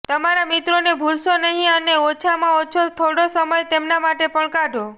તમારા મિત્રોને ભૂલશો નહી અને ઓછામાં ઓછો થોડો સમય તેમને માટે પણ કાઢો